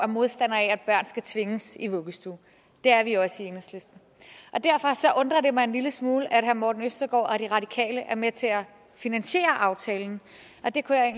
modstandere af at børn skal tvinges i vuggestue det er vi også i enhedslisten og derfor undrer det mig en lille smule at herre morten østergaard og de radikale er med til at finansiere aftalen det kunne jeg